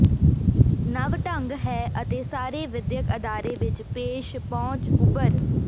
ਨਵ ਢੰਗ ਹੈ ਅਤੇ ਸਾਰੇ ਵਿਦਿਅਕ ਅਦਾਰੇ ਵਿਚ ਪੇਸ਼ ਪਹੁੰਚ ਉਭਰ